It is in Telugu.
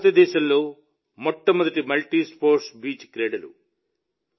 ఇవి భారతదేశంలో మొట్టమొదటి మల్టీస్పోర్ట్స్ బీచ్ క్రీడలు